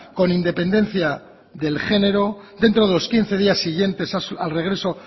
con independencia del genero dentro de los quince días siguientes al regreso